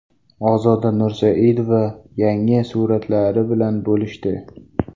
Ozoda Nursaidova yangi suratlari bilan bo‘lishdi.